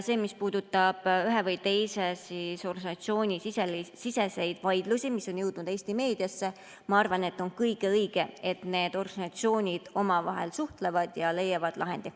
Mis puudutab ühe või teise organisatsiooni siseseid vaidlusi, mis on jõudnud Eesti meediasse, siis ma arvan, et on kõige õigem, kui need organisatsioonid omavahel suhtlevad ja leiavad lahendi.